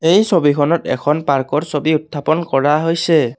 এই ছবিখনত এখন পাৰ্কৰ ছবি উত্থাপন কৰা হৈছে।